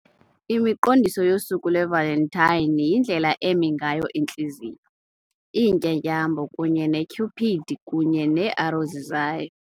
Imiqondiso yosuku lwe-Valentine yindlela eme ngayo intliziyo, iintlatyambo, kunye ne-Cupid kunye nee-arrows zayo.